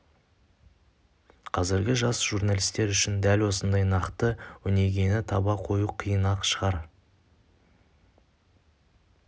қазіргі жас журналистер үшін дәл осындай нақты өнегені таба қою қиын-ақ шығар